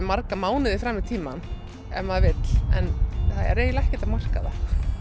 marga mánuði fram í tímann ef maður vill en það er eiginlega ekkert að marka það